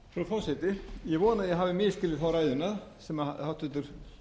að ég hafi misskilið ræðuna sem háttvirtur